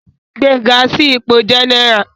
Gbé e ga sí ipò jẹ́nẹ́rà